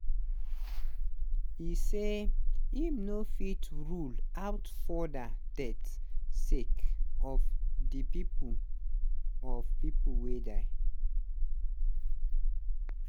e say im no fit rule out further deaths sake of di pipo of pipo wey die